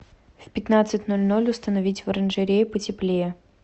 в пятнадцать ноль ноль установить в оранжерее потеплее